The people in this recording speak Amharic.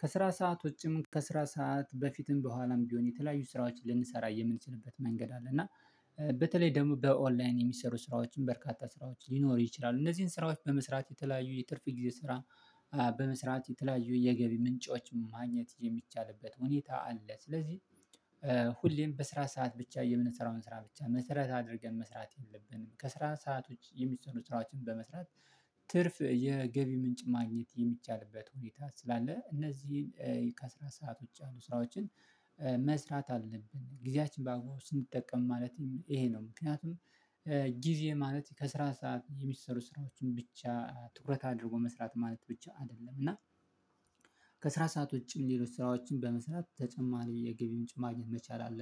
ከስራ ሰዓት ውጪም ከስራ ሰዓት በፊትም በኋላም ቢሆን የተለያዩ ስራዎችን ልንሰራ የምንችልበት መንገድ አለ እና። በተለይ ደግሞ በኦንላይን የሚሰሩ ስራዎችን በርካታ ስራዎች ሊኖር ይችላል እነዚህን ስራዎች በመስራት የተለያዩ የትርፍ ጊዜ ስራ። በመስራት የተለያዩ የገቢ ምንጮችን ማግኘት የሚቻልበት ሁኔታ አለ ስለዚህ። ሁሌም በስራ ሰዓት ብቻ የምንሰራውን ስራ ብቻ መሰረት አድርገን መስራት የለብንም ከስራ ሰዓት ውጪ የሚሰሩ ስራዎችን በመስራት። ትርፍ የገቢ ምንጭ ማግኘት የሚቻልበት ሁኔታ ስላለ እነዚህን ከስራ ሰዓት ውጪ ያሉ ስራዎችን። መስራት አለብን ጊዜያችጊዜያችንንን በአግባቡ ስንጠቀም ማለትም ይሄ ነው። ምክንያቱም ጊዜ ማለት በስራ ሰዓት የሚሰሩ ስራዎችን ብቻ ትኩረት አድርጎ መስራት ማለት ብቻ አይደለም እና። ከስራ ሰዓት ውጪ ሌሎች ስራዎችን በመስራት ተጨማሪ የገቢ ምጭን ማግኘት መቻል አለብን